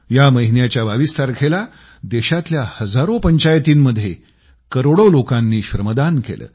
या महिन्याच्या 22 तारखेला देशातल्या हजारो पंचायतीमंध्ये करोडो लोकांनी श्रमदान केलं